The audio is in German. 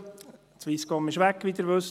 Die Swisscom ist weg, wie Sie wissen.